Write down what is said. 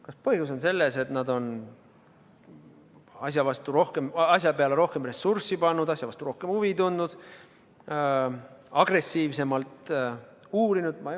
Kas põhjus on selles, et nad on asja peale rohkem ressurssi pannud, asja vastu rohkem huvi tundnud, agressiivsemalt uurinud?